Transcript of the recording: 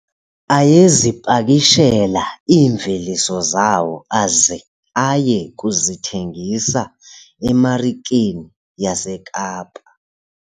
Ayezipakishela iimveliso zawo aze aye kuzithengisa emarikeni yaseKapa.